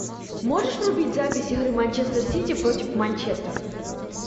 можешь врубить запись игры манчестер сити против манчестер